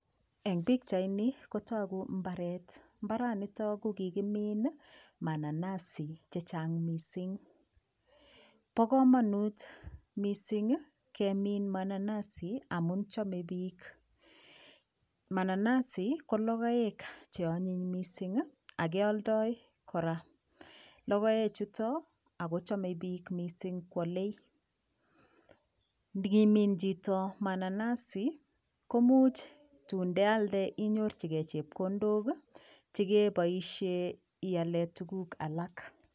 Eng pikchaini kotoku mbaret mbaranito kokikimiin mananasi chechang mising bo komonut mising kemin mananasi amun cheomei piik mananasi ko logoek cheonyiny mising akeoldoi kora logoechuto akochomei piik mising koolei ngimin chito mananasi komuch tun ndealde inyorchigei chepkondok chekeboishee ialee tukuk alak.